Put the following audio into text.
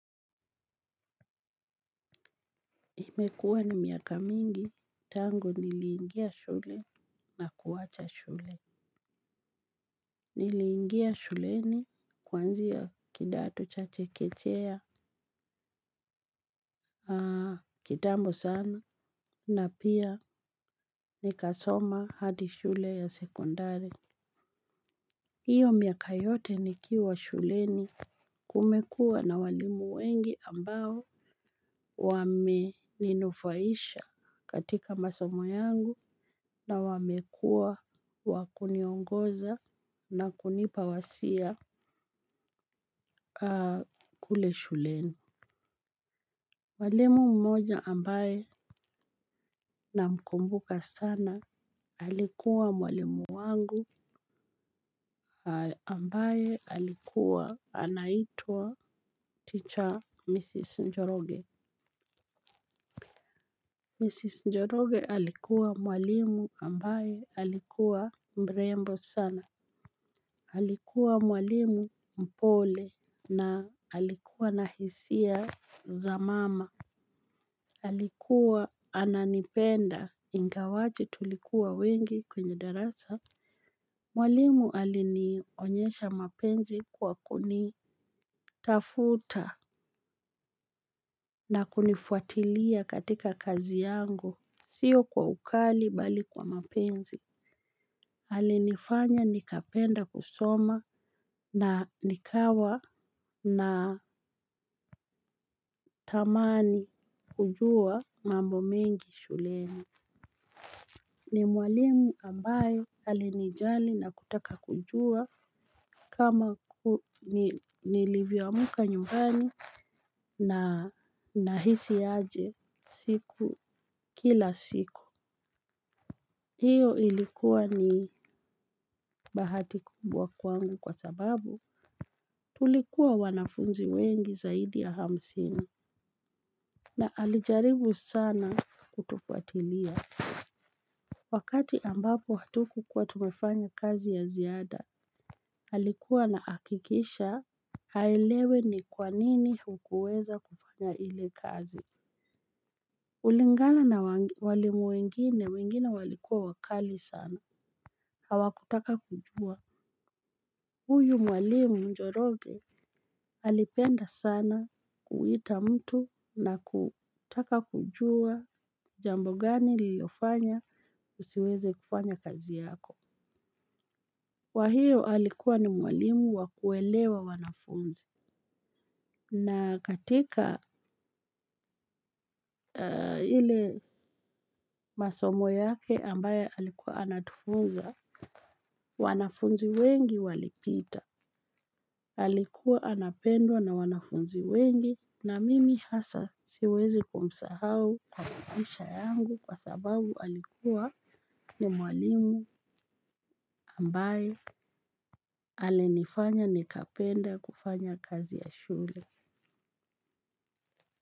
Imekuwa ni miaka mingi tangu niliingia shule na kuwacha shule. Niliingia shuleni kwanzia kidato cha chekechea. Kitambo sana na pia nikasoma hadi shule ya sekondari. Iyo miaka yote nikiwa shuleni kumekua na walimu wengi ambao wameninufaisha katika masomo yangu na wamekua wa kuniongoza na kunipa wasia kule shuleni. Mwalimu mmoja ambaye namkumbuka sana alikuwa mwalimu wangu ambaye alikuwa anaitwa teacher Mrs. Njoroge Mrs Njoroge alikuwa mwalimu ambaye alikuwa mrembo sana. Alikuwa mwalimu mpole na alikuwa na hisia za mama. Alikuwa ananipenda ingawaje tulikuwa wengi kwenye darasa. Mwalimu alinionyesha mapenzi kwa kunitafuta na kunifuatilia katika kazi yangu sio kwa ukali bali kwa mapenzi. Alinifanya nikapenda kusoma na nikawa natamani kujua mambo mengi shuleni. Ni mwalimu ambaye alinijali na kutaka kujua kama nilivyo amka nyumbani nahisi aje siku kila siku. Iyo ilikuwa ni bahati kubwa kwangu kwa sababu tulikuwa wanafunzi wengi zaidi ya hamsini. Na alijaribu sana kutufuatilia. Wakati ambapo hatukukuwa tumefanya kazi ya ziada alikuwa anahakikisha aelewe ni kwanini hukuweza kufanya ile kazi kulingana na walimu wengine walikuwa wakali sana hawakutaka kujuwa, huyu mwalimu njoroge alipenda sana kuita mtu na kutaka kujuwa jambo gani lilifanya usiweze kufanya kazi yako kwa hiyo alikuwa ni mwalimu wa kuelewa wanafunzi. Na katika ile masomo yake ambayo alikuwa anatufunza, wanafunzi wengi walipita. Alikuwa anapendwa na wanafunzi wengi na mimi hasa siwezi kumsahau kwa maisha yangu kwa sababu alikuwa ni mwalimu ambaye alienifanya nikapenda kufanya kazi ya shule.